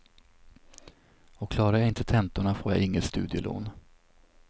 Och klarar jag inte tentorna får jag inget studielån.